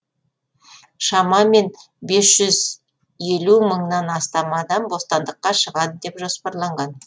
шамамен бес жүз елу мыңнан астам адам бостандыққа шығады деп жоспарланған